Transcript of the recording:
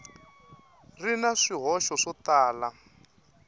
ri na swihoxo swo tala